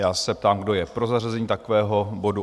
Já se ptám, kdo je pro zařazení takového bodu?